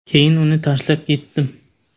Keyin uni tashlab ketdim.